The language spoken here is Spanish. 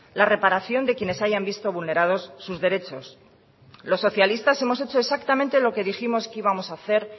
la reparación de quienes hayan visto vulnerados sus derechos los socialistas hemos hecho exactamente lo que dijimos que íbamos a hacer